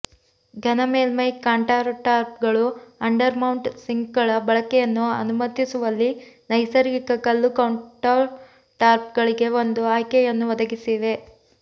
ಘನ ಮೇಲ್ಮೈ ಕೌಂಟರ್ಟಾಪ್ಗಳು ಅಂಡರ್ ಮೌಂಟ್ ಸಿಂಕ್ಗಳ ಬಳಕೆಯನ್ನು ಅನುಮತಿಸುವಲ್ಲಿ ನೈಸರ್ಗಿಕ ಕಲ್ಲು ಕೌಂಟರ್ಟಾಪ್ಗಳಿಗೆ ಒಂದು ಆಯ್ಕೆಯನ್ನು ಒದಗಿಸಿವೆ